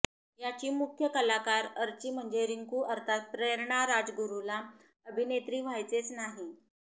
याची मुख्य कलाकार अर्ची म्हणजे रिंकू अर्थात प्रेरणा राजगुरुला अभिनेत्री व्हायचेच नाही